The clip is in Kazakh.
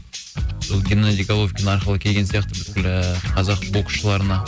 сол геннадий головкин арқылы келген сияқты бүкіл ыыы қазақ боксшыларына